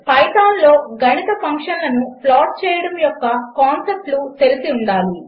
పైథాన్లో గణిత ఫంక్షన్లను ప్లాట్ చేయడము యొక్క కాన్సెప్ట్లు తెలిసి ఉండాలి